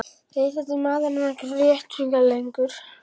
Auk þess er maðurinn ekkert réttarvitni lengur.